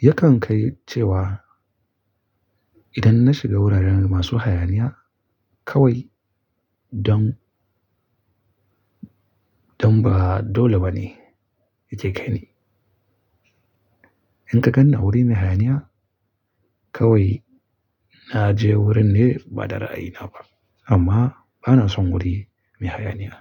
Yakan kai cewa idan na shiga wuraren masu hayaniya kawai don, don ba dole ba ne yake kaini. In ka ganni wuri mai hayaniya kawai na je wurin ne ba da ra'ayina ba amma bana son wuri mai hayaniya.